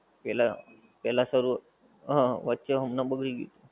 પેહલા પેહલા સવ વચ્ચે હમણાં બગડી ગયું થું